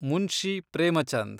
Munshi Premchand